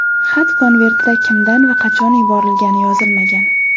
Xat konvertida kimdan va qachon yuborilgani yozilmagan.